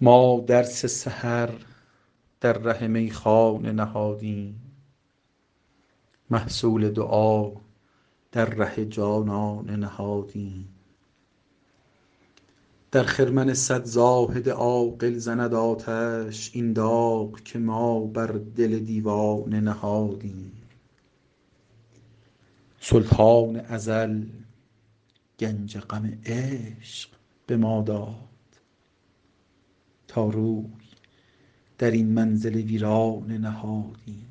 ما درس سحر در ره میخانه نهادیم محصول دعا در ره جانانه نهادیم در خرمن صد زاهد عاقل زند آتش این داغ که ما بر دل دیوانه نهادیم سلطان ازل گنج غم عشق به ما داد تا روی در این منزل ویرانه نهادیم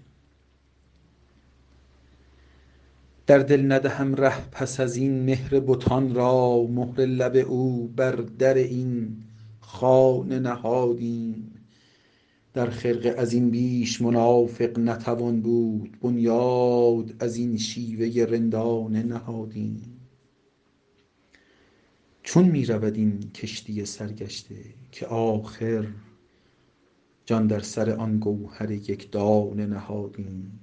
در دل ندهم ره پس از این مهر بتان را مهر لب او بر در این خانه نهادیم در خرقه از این بیش منافق نتوان بود بنیاد از این شیوه رندانه نهادیم چون می رود این کشتی سرگشته که آخر جان در سر آن گوهر یک دانه نهادیم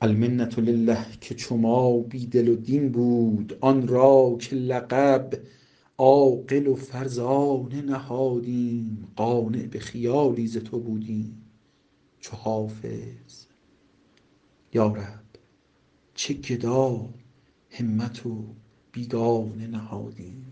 المنة لله که چو ما بی دل و دین بود آن را که لقب عاقل و فرزانه نهادیم قانع به خیالی ز تو بودیم چو حافظ یا رب چه گداهمت و بیگانه نهادیم